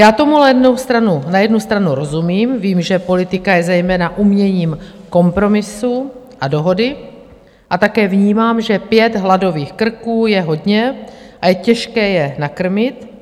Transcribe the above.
Já tomu ale jednu stranu rozumím, vím, že politika je zejména uměním kompromisu a dohody, a také vnímám, že pět hladových krků je hodně a je těžké je nakrmit.